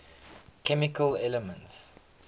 chemical elements